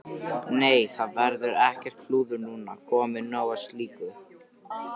Nei, það verður ekkert klúður núna, komið nóg af slíku.